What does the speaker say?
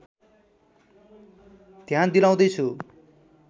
ध्यान दिलाउँदै छु